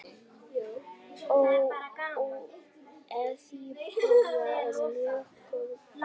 Eþíópía er mjög gott land.